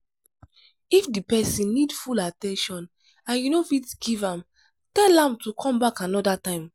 if di person need full at ten tion and you no fit give am tell am to come back anoda time